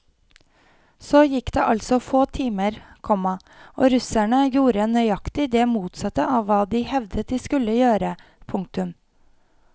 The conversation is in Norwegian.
Så gikk det altså få timer, komma og russerne gjorde nøyaktig det motsatte av hva de hevdet de skulle gjøre. punktum